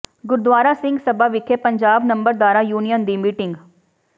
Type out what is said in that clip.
ਗੁਰਦੁਆਰਾ ਸਿੰਘ ਸਭਾ ਵਿਖੇ ਪੰਜਾਬ ਨੰਬਰਦਾਰਾਂ ਯੂਨੀਅਨ ਦੀ ਮੀਟਿੰਗ